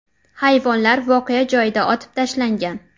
Hayvonlar voqea joyida otib tashlangan.